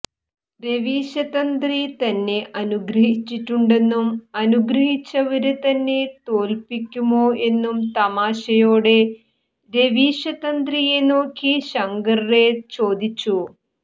രവീശതന്ത്രി തന്നെ അനുഗ്രഹിച്ചിട്ടുണ്ടെന്നും അനുഗ്രഹിച്ചവര് തന്നെ തോല്പിക്കുമോ എന്നും തമാശയോടെ രവീശതന്ത്രിയെ നോക്കി ശങ്കര് റൈ ചോദിച്ചു